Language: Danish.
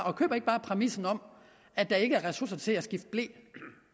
og køber ikke bare præmissen om at der ikke er ressourcer til at skifte ble